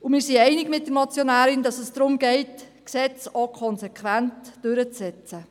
Wir sind einig mit der Motionärin, dass es darum geht, Gesetze auch konsequent durchzusetzen.